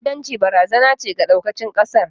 ta'addanci barazana ce ga ɗaukacin ƙasar